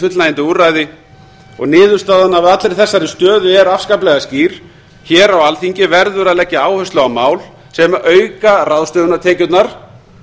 fullnægjandi úrræði og niðurstaðan af allri þessari stöðu er afskaplega skýr hér á alþingi verður að leggja áherslu á mál sem auka ráðstöfunartekjurnar